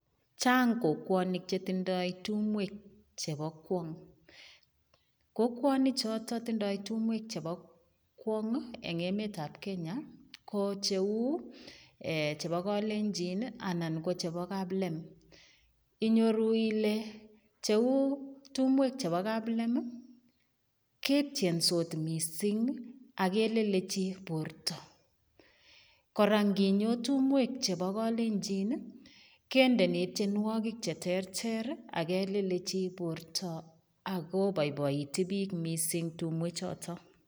Chang kokwonik chetindoi tumwek chepo kwong kokwonik choto tindoi tumwek chebo kwong eng emet ap Kenya ko cheu, chebo kalenjin anan kochebo kaplem inyoru ile cheu tumwek chebo kaplem, ketyensot mising ako kelelechi Porto kora nginyo tumwek chebo kalenjin kendeni tienwokik cheterter akelelechi Porto akopoipoitu piko tumwek choto.